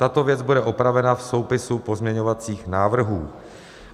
Tato věc bude opravena v soupisu pozměňovacích návrhů.